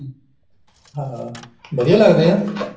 ਹਾਂ ਵਧੀਆ ਲੱਗਦੇ ਐ